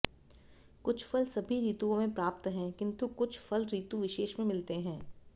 कुछ फल सभी ऋतुओं में प्राप्त हैं किन्तु कुछ फल ऋतु विशेष में मिलते हैं